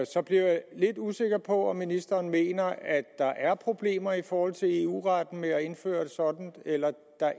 så bliver jeg lidt usikker på om ministeren mener at der er problemer i forhold til eu retten ved at indføre sådant eller